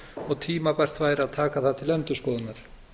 og tímabært væri að taka það til endurskoðunar